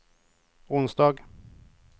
onsdag